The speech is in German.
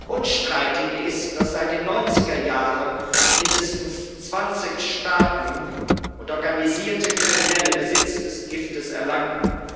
Unstreitig ist, dass seit den 90er Jahren mindestens 20 Staaten und organisierte Kriminelle Besitz des Giftes erlangten.